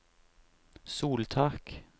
soltak